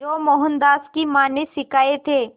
जो मोहनदास की मां ने सिखाए थे